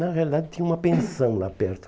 Na realidade, tinha uma pensão lá perto.